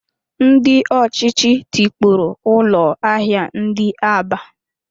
Ndị ọchịchị tikpọrọ ụlọ ahịa ndị Aba